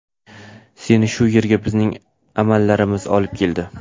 Seni bu yerga bizning amallarimiz olib keldi.